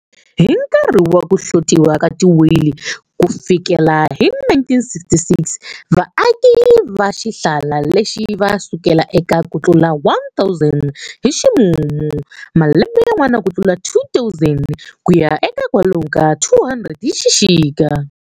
Hi nkarhi wa ku hlotiwa ka ti whale kufikela hi 1966, vaaki va xihlala lexi ava sukela eka kutlula 1,000 hi ximumu, malembe yan'wana kutlula 2,000, kuya eka kwalomu ka 200 hi xixika.